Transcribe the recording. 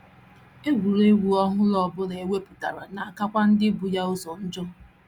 Egwuregwu ọhụrụ ọ bụla e wepụtara na - akakwa ndị bu ya ụzọ njọ.